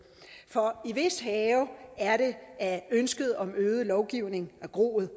for i hvis have er det at ønsket om øget lovgivning er groet